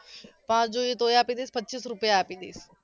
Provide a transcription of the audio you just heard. પાંચ જોઈએ તોય આપી દઈશ પચ્ચીસ રૂપિયા આપી દઈશ